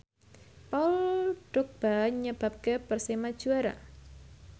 Paul Dogba nyebabke Persema juara